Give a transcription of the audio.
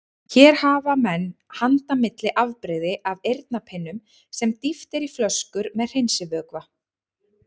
Hér hafa menn handa milli afbrigði af eyrnapinnum sem dýft er í flöskur með hreinsivökva.